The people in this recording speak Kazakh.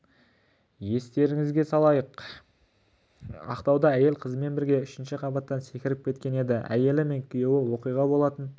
естеріңізге салайық ақтауда әйел қызымен бірге үшінші қабаттан секіріп кеткен еді әйелі мен күйеуі оқиға болатын